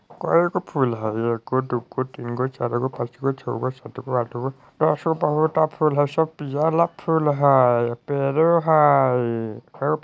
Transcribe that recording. कई का फूल हई एको दोगा तीनगो चारगो पाचगो छहगो सातगो आठगो ऐता सा बहुत फूल हई पेड़ो हई।